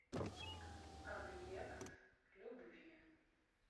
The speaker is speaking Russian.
объект любви